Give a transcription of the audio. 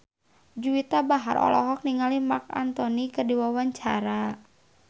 Juwita Bahar olohok ningali Marc Anthony keur diwawancara